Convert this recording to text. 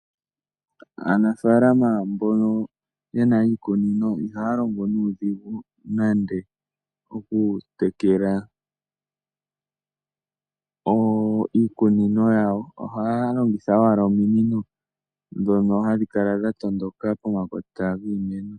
Aanafaalama mbono yena iikunino, ihaya longo nuudhigu nande oku tekela iikunino yawo ohaya longitha owala ominino dhoka hadhi kala dha tondoka pomakota giimeno .